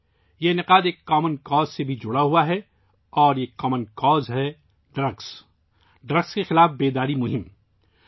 اس واقعہ کا تعلق بھی ایک ' کامن کاز ' سے جڑا ہوا ہے اور یہ کامن کاز ہے منشیات کے خلاف بیداری مہم